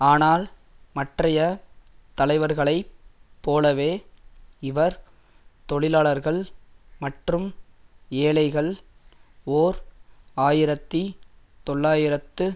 ஆனால் மற்றய தலைவர்களைப் போலவே இவர் தொழிலாளர்கள் மற்றும் ஏழைகள் ஓர் ஆயிரத்தி தொள்ளாயிரத்து